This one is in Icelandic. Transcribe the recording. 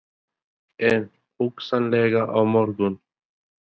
Kristján: En hugsanlega á morgun?